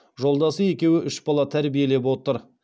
жолдасы екеуі үш бала тәрбиелеп отыр